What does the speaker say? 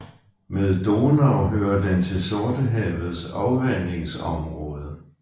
Med Donau hører den til Sortehavets afvandingsområde